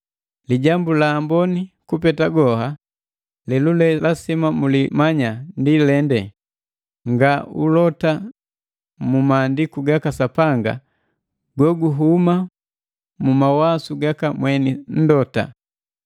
Lijambu la amboni kupeta goha; lelule lasima mulimanya ndi lende nga ulota mu maandiku gaka Sapanga go guhuma mu mawasu gaka mweni nndota.